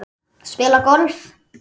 Spila golf?